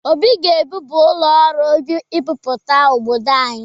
Obi ga-ewube ụlọ ọrụ mbipụta n'obdod anyị.